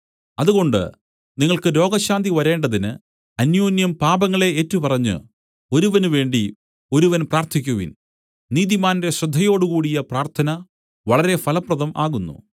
അതുകൊണ്ട് നിങ്ങൾക്ക് രോഗശാന്തി വരേണ്ടതിന് അന്യോന്യം പാപങ്ങളെ ഏറ്റുപറഞ്ഞ് ഒരുവന് വേണ്ടി ഒരുവൻ പ്രാർത്ഥിക്കുവിൻ നീതിമാന്റെ ശ്രദ്ധയോടുകൂടിയ പ്രാർത്ഥന വളരെ ഫലപ്രദം ആകുന്നു